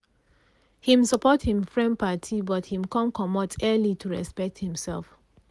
he support him friend party but him come comot early to respect himself